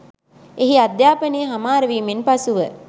එහි අධ්‍යාපනය හමාරවීමෙන් පසුව